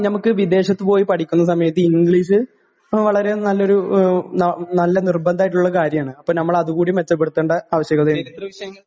ങാ, നമ്മക്ക് വിദേശത്തുപോയി പഠിക്കുന്ന സമയത്ത് ഇംഗ്ളീഷ് വളരെ നല്ലൊരു...വളരെ നിർബന്ധമായിട്ടുള്ള ഒരു കാര്യമാണ്. അപ്പൊ നമ്മൾ അതുകൂടി മെച്ചപ്പെടുത്തേണ്ട ആവശ്യകതയുണ്ട്.